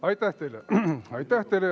Aitäh teile!